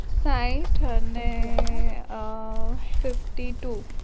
સાહીઠ અને અ fifty two